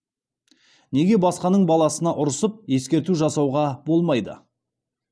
неге басқаның баласына ұрысып ескерту жасауға болмайды